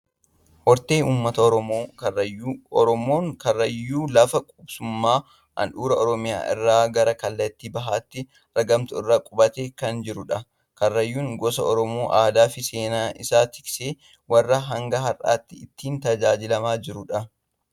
Hortee uummata Oromoo Karrayyuu. Oromoon Karrayyuu lafa qubsuma handhuura Oromiyaa irraa gara kallattii bahaatti argamtu irra qubatee kan jirudha. Karrayyuun gosa Oromoo aadaa fi seenaa isaa tiksee warra hanga har'aatti ittiin tajaajilamaa jirudha.